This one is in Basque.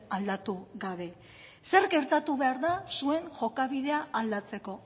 aldatu gabe zer gertatu behar da zuen jokabidea aldatzeko